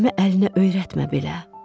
Əlimə əlinə öyrətmə belə.